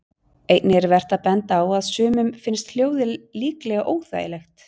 Einnig er vert að benda á að sumum finnst hljóðið líklega óþægilegt.